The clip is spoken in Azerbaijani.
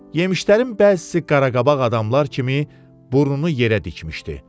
Yemişlərin bəzisi qaraqabaq adamlar kimi burnunu yerə dikmişdi.